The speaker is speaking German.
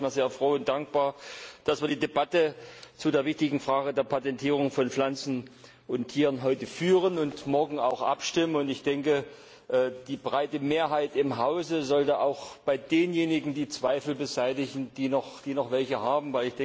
Ich bin sehr froh und dankbar, dass wir heute die Debatte zu der wichtigen Frage der Patentierung von Pflanzen und Tieren führen und morgen auch abstimmen, und ich denke, die breite Mehrheit im Hause sollte auch bei denjenigen die Zweifel beseitigen, die noch welche haben.